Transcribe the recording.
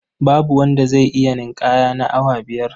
Babu wanda zai iya ninƙaya na awa biyar.